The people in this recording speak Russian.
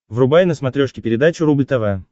врубай на смотрешке передачу рубль тв